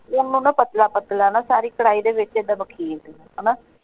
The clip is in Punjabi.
ਓਹਨੂੰ ਨਾ ਪਤਲਾ ਪਤਲਾ ਨਾ ਸਾਰੀ ਕੜਾਈ ਦੇ ਵਿੱਚ ਏਦਾਂ ਵਖੇਰ ਦੋ ਹਣਾ।